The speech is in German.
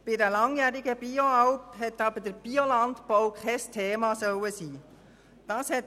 Bei einer langjährigen Bioalp soll der Biolandbau aber auf einmal kein Thema sein.